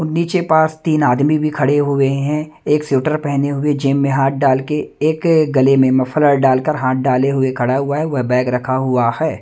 नीचे पास तीन आदमी भी खड़े हुए हैं एक शूटर पहने हुए जेब में हाथ डाल के एक गले में मफलर डालकर हाथ डाले हुए खड़ा हुआ है वह बैग रखा हुआ है।